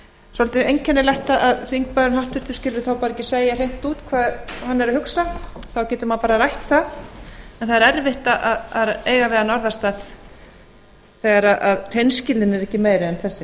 svolítið einkennilegt að háttvirtur þingmaður skuli þá bara ekki segja hreint út hvað hann er að hugsa þá getur maður bara rætt það en það er erfitt að eiga við hann orðastað þegar hreinskilnin er ekki meiri en þessi